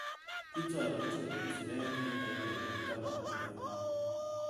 Kitoi icheket siret eng takikainik taman agenge.